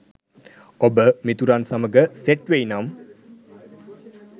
ඔබ මිතුරන් සමග සෙට් වෙයි නම්